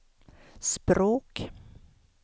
språk